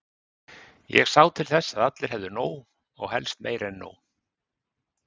Ég sá til þess að allir hefðu nóg, og helst meira en nóg.